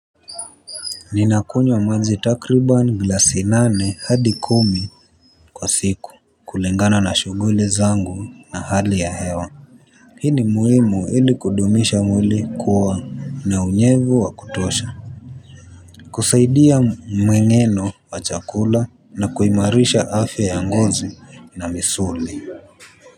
Ninakunywa maji takriban glasi nane hadi kumi kwa siku kulingana na shughuli zangu na hali ya hewa. Hii ni muhimu ili kudumisha mwili kuwa na unyevu wa kutosha. Kusaidia mmeng'eno wa chakula na kuimarisha afya ya ngozi na misuli.